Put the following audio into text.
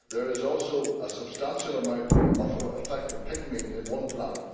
There is also a substantial amount of infected pigmeat at one plant.